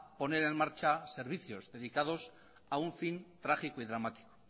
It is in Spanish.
poner en marcha servicios dedicados a un fin trágico y dramático